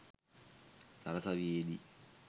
සරසවියේ දී